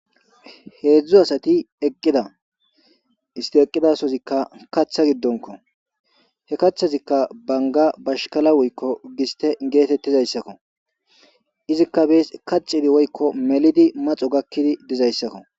hedzdzu asati eqqida isti eqqidasozikka kaththa giddonko he kaththazikka banga bashkala woykko giste geetettizayssakko izikka bees kaxidi woykko melidi maxo gakkidi dizayssakko